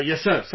Yes Sir